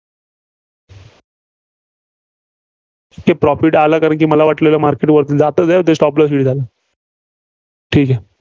तिथं profit आला. कारण मला वाटलेलं market तिथं Stop loss झाला. ठीक आहे.